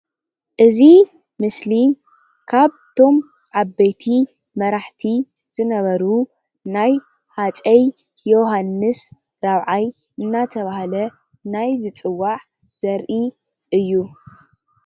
እዚ ምስሊ ካብቶም ዓበይቲ መራሕቲ ዝነበሩ ናይ ሃፀይ የውሃንስ ራብዓይ እናተብሃለ ናይዝፅዋዕ ዘርኢ እዩ፡፡